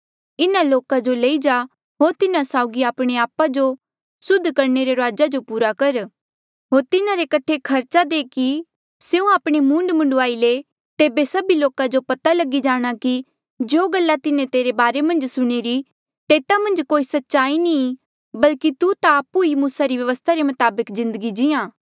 इन्हा लोका जो लई जा होर तिन्हा साउगी आपणे आपा जो सुद्ध करणे रे रुआजा जो पूरा कर होर तिन्हारे कठे खर्चा दे कि स्यों आपणे मूंड मुंडवाईले तेबे सभी लोका जो पता लगी जाणा कि जो गल्ला तिन्हें तेरे बारे मन्झ सुणीरी तेता मन्झ कोई सच्चाई नी ई बल्कि तू ता आपु ई मूसा री व्यवस्था रे मताबक जिन्दगी जीहां